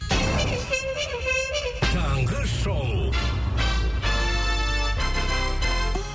таңғы шоу